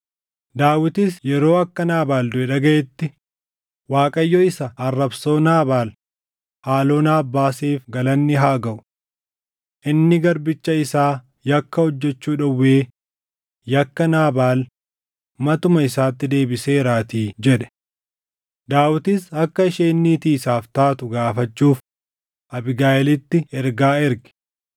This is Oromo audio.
Daawitis yeroo akka Naabaal duʼe dhagaʼetti, “ Waaqayyo isa arrabsoo Naabaal haaloo naaf baaseef galanni haa gaʼu. Inni garbicha isaa yakka hojjechuu dhowwee yakka Naabaal matuma isaatti deebiseeraatii” jedhe. Daawitis akka isheen niitii isaaf taatu gaafachuuf Abiigayiilitti ergaa erge.